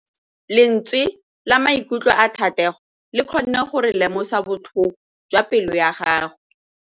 Lentswe la maikutlo a Thategô le kgonne gore re lemosa botlhoko jwa pelô ya gagwe.